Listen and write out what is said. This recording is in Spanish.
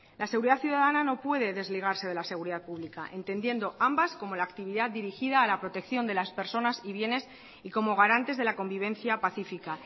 la seguridad ciudadana no puede desligarse de la seguridad pública entendiendo ambas como la actividad dirigida a la protección de las personas y bienes y como garantes de la convivencia pacífica